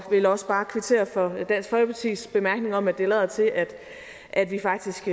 vil også bare kvittere for dansk folkepartis bemærkning om at det lader til at at vi faktisk